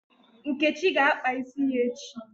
Nkechi ga-akpa isi ya echi